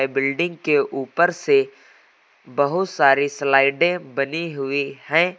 Building के ऊपर से बहुत सारी स्लाइडे बनी हुई है।